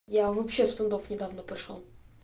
я вообще с трудов недавно пришёл